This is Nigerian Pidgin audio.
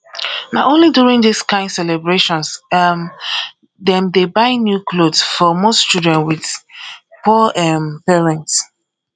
na only during this kind celebrations um dem dey buy new clothes for most children with poor um parents